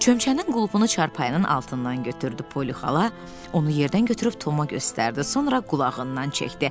Çömçənin qulpuna çarpayının altından götürdü Poly xala, onu yerdən götürüb Toma göstərdi, sonra qulağından çəkdi.